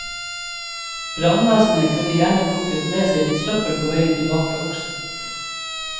Brannvesenet kunne gjerne plukket med seg litt søppel på veien tilbake også.